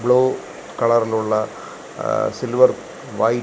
blue കളറിൽ ഉള്ള ങ സിൽവർ വൈറ്റ് --